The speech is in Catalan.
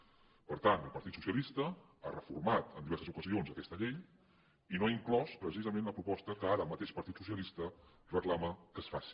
per tant el partit socialista ha reformat en diverses ocasions aquesta llei i no ha inclòs precisament la proposta que ara el mateix partit socialista reclama que es faci